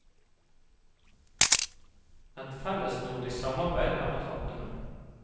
Et fellesnordisk samarbeid er på trappene.